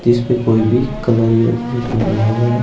इसपे कोई भी कलर या पेंट नहीं हुआ हुआ है।